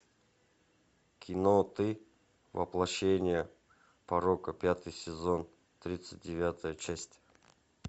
кино ты воплощение порока пятый сезон тридцать девятая часть